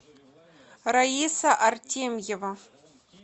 раиса артемьева